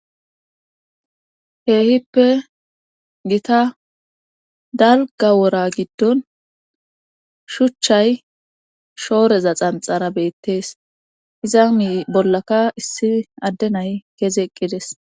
keehippe gita dalgga wora giddon shuchchay shooreza xanxxara beetes; izani bollaka issi adde nay kezi eqqi des.